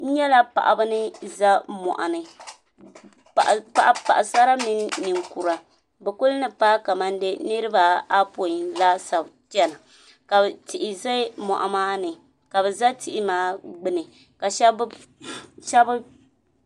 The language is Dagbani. n nyɛla paɣ' ba ni za moɣini paɣ' sara mini nɛkura be kuli ni maa niribaapɔi laasabu chɛna ka tihi ʒɛ moɣ' maa ni ka be za tihi maa gbani ka shɛbi